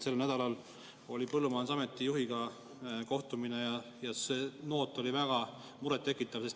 Sel nädalal oli põllumajandusameti juhiga kohtumine ja see noot oli väga murettekitav.